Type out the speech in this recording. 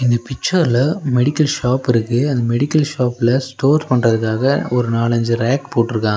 இந்த பிச்சர்ல மெடிக்கல் ஷாப்பிருக்கு அந்த மெடிக்கல் ஷாப்ல ஸ்டோர் பண்றதுக்காக ஒரு நாலஞ்சு ரேக் போட்ருக்காங்க.